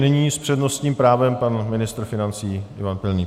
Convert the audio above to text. Nyní s přednostním právem pan ministr financí Ivan Pilný.